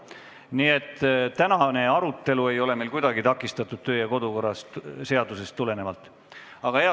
Nii et tänane arutelu ei ole meil kodu- ja töökorra seadusest tulenevalt küll kuidagi takistatud.